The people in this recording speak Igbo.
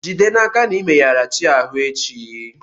Jide n'aka na i meyara chi ahụ echi.